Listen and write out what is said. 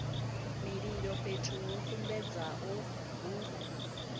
mililo fhethu ho sumbedzwaho hu